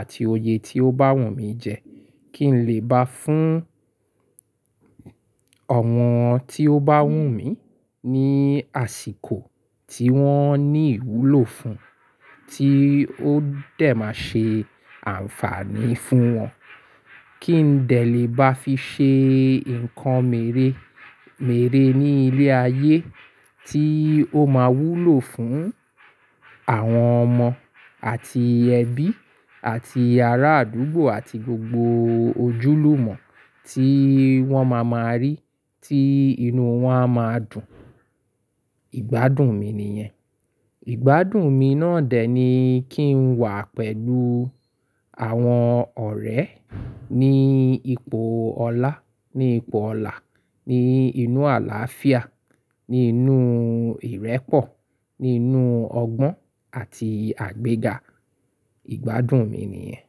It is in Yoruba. àti oyè tí ó bá wù mí jẹ, kí n lè bá fún ọ̀wọn tí ó bá wù mí ní àsìkò tí wọ́n ní ìwúlò fún, tí ó dẹ̀ máa ṣe àǹfààní fún wọn. Kí n dẹ̀ lè bá fi ṣe ǹkan meremere ní ilé ayé tí ó máa wúlò fún àwọn ọmọ àti ẹbí àti ará àdúgbò àti gbogbo ojúlùmọ̀ tí wọ́n máa ma rí tí inú wọn a máa dùn, ìgbádùn mi nìyẹn. Ìgbádùn mi náà dẹ̀ ni kí n wà pẹ̀lú àwọn ọ̀rẹ́ ní ipò ọlá, ní ipò ọlà, ní inú àlàáfíà, ní inú ìrẹ́pọ̀, ní inú ọgbọ́n àti àgbéga, ìgbádùn mi nìyẹn.